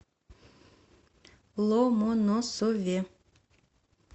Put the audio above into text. ломоносове